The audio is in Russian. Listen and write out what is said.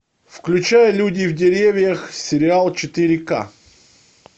включай люди в деревьях сериал четыре ка